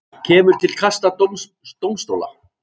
Kemur til kasta dómstóla